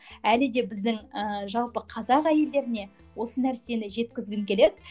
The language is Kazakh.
әлі де біздің ііі жалпы қазақ әйелдеріне осы нәрсені жеткізгім келеді